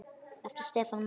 Eftir Stefán Mána.